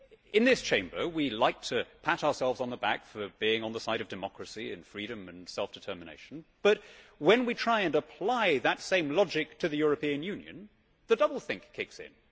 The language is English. In this Chamber we like to pat ourselves on the back for being on the side of democracy, freedom and self determination, but when we try to apply that same logic to the European Union, the doublethink kicks in.